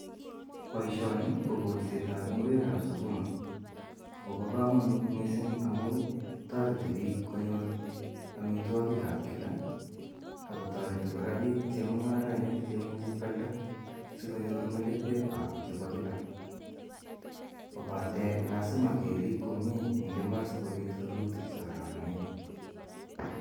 Poishoni ko kolset ap ngwek ap sukuma. Ak kopa kamanut missing' amu tareti piik konyor amitwogik ap kila ak kotareti kora piik chemung'arainik, che imuchi koalda asikonyor melekwak chepa kila kopate lasima kerip komye eng' imbar sikopit rurutik che kararanen.